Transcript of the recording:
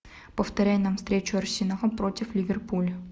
повторяй нам встречу арсенал против ливерпуля